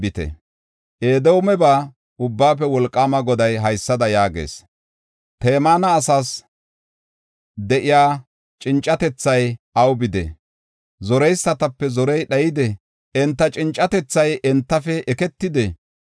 Edoomeba Ubbaafe Wolqaama Goday haysada yaagees; “Temaana asaas de7iya cincatethay aw bidee? Zoreysatape zorey dhayidee? Enta cincatethay entafe eketidee?